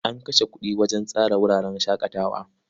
An kashe kuɗi wajen tsara wuraren shaƙatawa.